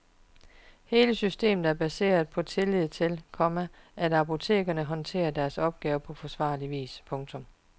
Hele systemet er baseret på tillid til, komma at apotekerne håndterer deres opgave på forsvarlig vis. punktum